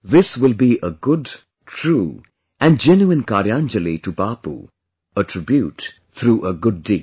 This will be a good, true & genuine Karyanjali to Bapu, a tribute through a good deed